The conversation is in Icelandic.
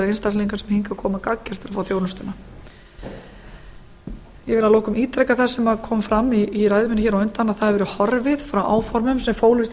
einstaklinga sem hingað koma gagngert til að fá þjónustuna ég vil að lokum ítreka það sem kom fram í ræðu minni hér á undan að það hefur verið horfið frá áformum sem fólust